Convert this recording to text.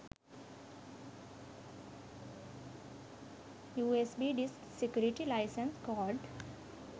usb disk security license code